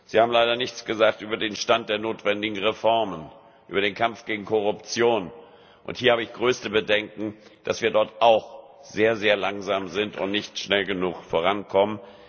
Sie haben leider nichts gesagt über den Stand der notwendigen Reformen, über den Kampf gegen Korruption. Hier habe ich größte Bedenken, dass wir dort auch sehr langsam sind und nicht schnell genug vorankommen.